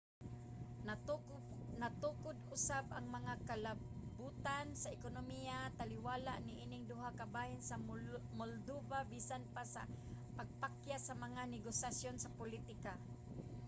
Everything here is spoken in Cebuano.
natukod usab ang mga kalabutan sa ekonomiya taliwala niining duha ka bahin sa moldova bisan pa sa pagkapakyas sa mga negosasyon sa politika